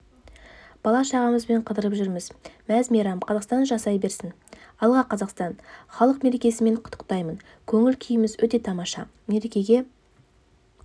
бала-шағамызбен қыдырып жүрміз мәз-мейрам қазақстан жасай берсін алға қазақстан халқы мерекесімен құттықтаймын көңіл-күйіміз өте тамаша мерекеге